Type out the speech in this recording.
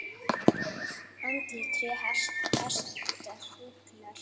Andlit, tré, hestar, fuglar.